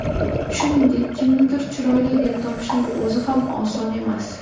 Shuningdek, kimnidir chiroyli deb topishning o‘zi ham oson emas.